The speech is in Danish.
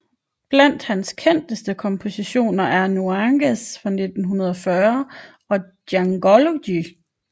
Blandt hans kendteste kompositioner er Nuages fra 1940 og Djangology